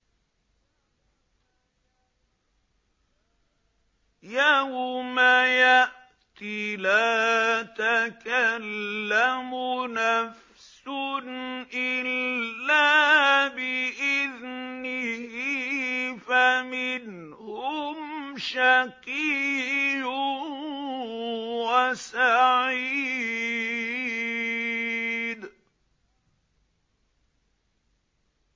يَوْمَ يَأْتِ لَا تَكَلَّمُ نَفْسٌ إِلَّا بِإِذْنِهِ ۚ فَمِنْهُمْ شَقِيٌّ وَسَعِيدٌ